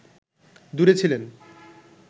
দূরে ছিলেন